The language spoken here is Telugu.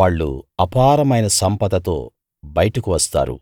వాళ్ళు అపారమైన సంపదతో బయటకు వస్తారు